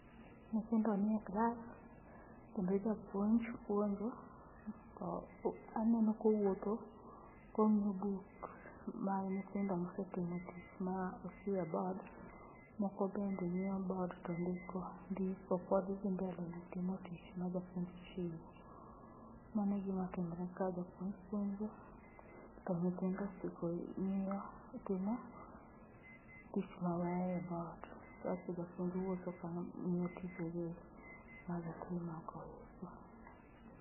Nyithindo ni e klas kendo Japuonj puonjo, to aneno kowuotho kong'iyo books mag nyithindo mosetimo tich ma ochiwo e board. Moko bende ng'iyo board to ndiko, ndiko pod dhi mbele gi timo tich ma japuonj ochiwo. Mano e gima timore kaa, japuonj puonjo to nyithindo chiko, ng'iyo timo tich ma oweyo e board kasto japuonj wuotho ka ng'iyo tije gi ma gitimo go.